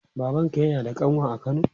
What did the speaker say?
Babanka yana da ƙanwa a kano?